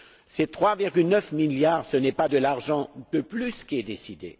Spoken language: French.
Ces 3,9 milliards, ce n'est pas de l'argent en plus qui est décidé.